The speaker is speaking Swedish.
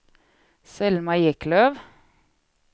Selma Eklöf